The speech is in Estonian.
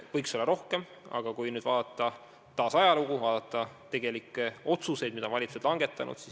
Võiks olla rohkem, aga vaatame taas ajalugu, vaatame tegelikke otsuseid, mida valitsused on langetanud.